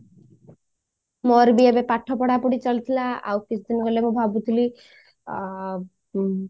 ମୋର ବି ଏବେ ପାଠ ପଢା ପଢି ଚାଲିଥିଲା ଆଉ କିଛି ଦିନ ଗଲେ ମୁଁ ଭାବୁଥିଲି ଆଁ ଉ